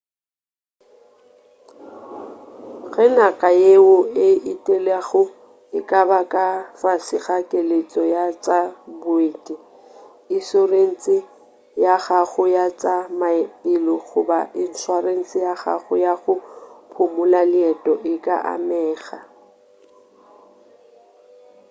ge naga yeo o e etelago e ka ba ka fase ga keletšo ya tša boeti išorense ya gago ya tša maphelo goba išorense ya gago ya go phumula leeto e ka amega